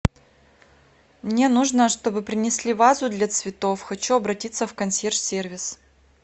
мне нужно чтобы принесли вазу для цветов хочу обратиться в консьерж сервис